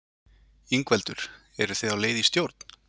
Ingveldur: Eru þið á leið í stjórn?